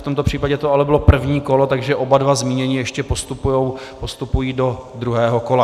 V tomto případě to ale bylo první kolo, takže oba dva zmínění ještě postupují do druhého kola.